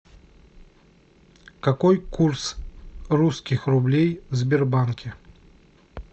какой курс русских рублей в сбербанке